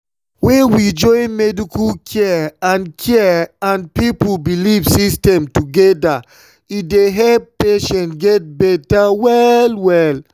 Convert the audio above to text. when we join medical care and care and people belief system together e dey help patients get better well-well.